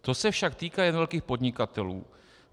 To se však týká jen velkých podnikatelů.